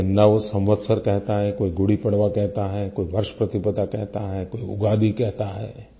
कोई इसे नव संवत्सर कहता है कोई गुड़ीपड़वा कहता है कोई वर्ष प्रतिप्रता कहता है कोई उगादी कहता है